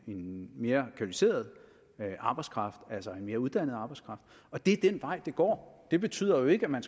en mere kvalificeret arbejdskraft altså en mere uddannet arbejdskraft og det er den vej det går det betyder jo ikke at man